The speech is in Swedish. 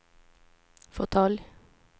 fåtölj